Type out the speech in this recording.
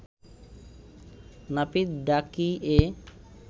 নাপিত ডাকিয়ে